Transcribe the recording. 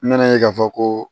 N bɛna ye k'a fɔ ko